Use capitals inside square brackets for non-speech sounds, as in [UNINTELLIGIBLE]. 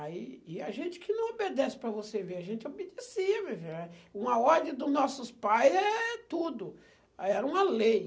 Aí, e a gente que não obedece para você ver, a gente obedecia meu filho [UNINTELLIGIBLE] uma ordem dos nossos pais é tudo, era uma lei.